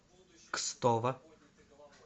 кстово